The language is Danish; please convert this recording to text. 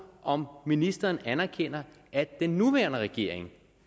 om ministeren anerkender at den nuværende regering